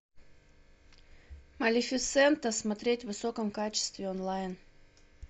малефисента смотреть в высоком качестве онлайн